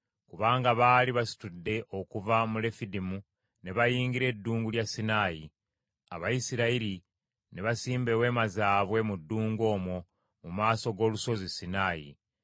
Kubanga baali basitudde okuva mu Lefidimu ne bayingira Eddungu lya Sinaayi. Abayisirayiri ne basimba eweema zaabwe mu ddungu omwo mu maaso g’olusozi Sinaayi.